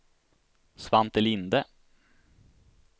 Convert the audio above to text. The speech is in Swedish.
Svante Linde